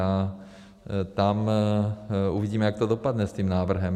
A tam uvidíme, jak to dopadne s tím návrhem.